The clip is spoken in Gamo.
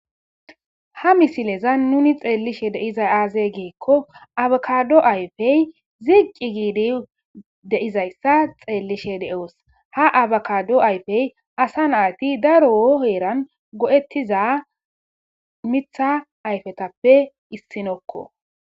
Ha misileza nuni xeellishe deizay aaze geekko abakado ayfey ziqqi giidi deizayssa xeellishe de'oos ha abakado ayfey asa naati daro oheeran go'ettiza mitha ayfetappe issinokko